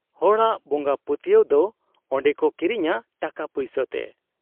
ᱦᱚᱲᱟᱜ ᱵᱚᱝᱜᱟ ᱯᱟᱹᱛᱭᱟᱹᱣ ᱫᱚ ᱚᱱᱰᱮᱠᱚ ᱠᱤᱨᱤᱧᱟ ᱴᱟᱠᱟ ᱯᱩᱭᱥᱟᱹ ᱴᱮ ᱾